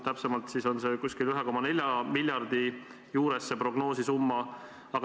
Täpsemalt on see prognoositav summa umbes 1,4 miljardit.